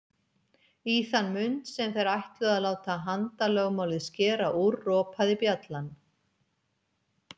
Í þann mund sem þeir ætluðu að láta handalögmálið skera úr, ropaði bjallan.